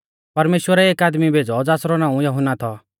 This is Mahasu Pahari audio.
परमेश्‍वरै एक आदमी भेज़ौ ज़ासरौ नाऊं यहुन्ना थौ